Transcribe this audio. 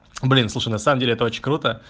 блин слушай на самом деле это очень круто